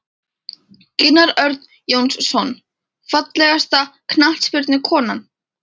Gunnar Örn Jónsson Fallegasta knattspyrnukonan?